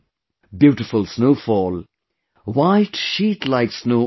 Beautiful snowfall, white sheet like snow all around